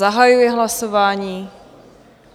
Zahajuji hlasování.